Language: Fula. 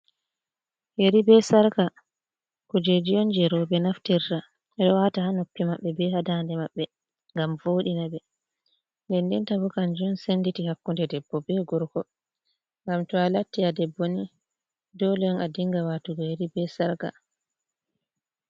Yeri bee "sarƙa" kuujeeji on jey rowɓe naftirta, ɓe ɗo waata ha noppi maɓɓe bee ha daande maɓɓe ngam vooɗina ɓe. Ndenndenta bo kannjum senndirta hakkunnde debbo bee gorko. Ngam to a latti a debbo ni doole on a dinnga waatugo yeri bee "sarƙa".